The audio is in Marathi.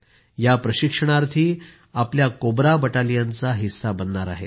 या प्रशिक्षणार्थी आपल्या कोब्रा बटालियन चा हिस्सा बनणार आहेत